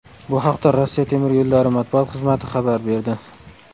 Bu haqda Rossiya temir yo‘llari matbuot xizmati xabar berdi .